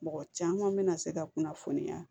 Mɔgɔ caman bɛna se ka kunnafoniya